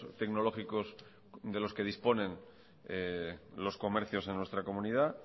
tecnológicos de los que disponen los comercios en nuestra comunidad